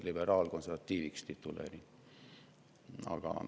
Liberaalkonservatiiviks tituleerin ennast.